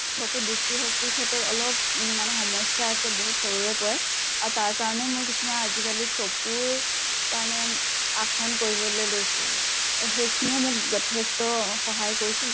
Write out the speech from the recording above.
চকু দৃষ্টিশক্তিৰ ক্ষেত্ৰত অলপ উম মানে সমস্য়া আছে বহুত সৰুৰে পৰা। আৰু তাৰ কাৰণে মই কিছুমান আজি কালিৰ চকুৰ কাৰণে আসন কৰিবলে লৈছো। সেইখিনিও মোক যথেষ্ট সহায় কৰিছিল।